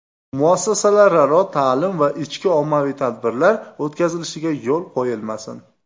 Muassasalararo ta’lim va ichki ommaviy tadbirlar o‘tkazilishiga yo‘l qo‘yilmasin.